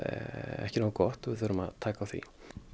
ekki nógu gott og við þurfum að taka á því